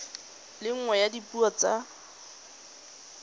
le nngwe ya dipuo tsa